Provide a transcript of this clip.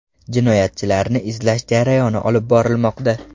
Jinoyatchilarni izlash jarayoni olib borilmoqda.